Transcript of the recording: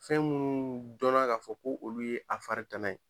Fɛn minnu dɔnna k'a no fɔ ko olu ye a fari tana ye.